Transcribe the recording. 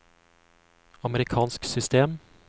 amerikansk system